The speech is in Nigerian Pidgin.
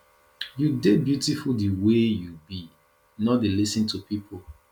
you dey beautiful di way you be no dey lis ten to pipo